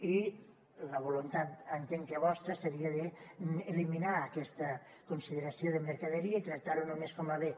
i la voluntat entenc que vostra seria d’eliminar aquesta consideració de mercaderia i tractar ho només com a bé